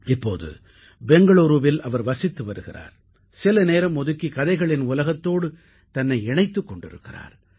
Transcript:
இப்போது பெங்களூரூவில் அவர் வசித்து வருகிறார் சில நேரம் ஒதுக்கி கதைகளின் உலகத்தோடு தன்னை இணைத்துக் கொண்டிருக்கிறார்